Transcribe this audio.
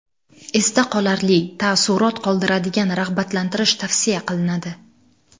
Esda qolarli, taassurot qoldiradigan rag‘batlantirish tavsiya qilinadi.